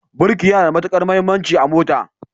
Birki yana da matukar muhimmanci a mota.